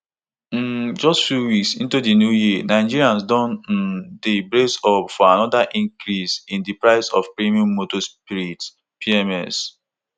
um just few weeks into di new year nigerians don um dey brace up for anoda increase in di price of premium motor spirit pms